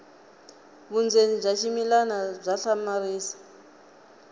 vundzeni bya ximilana bya hlamarisa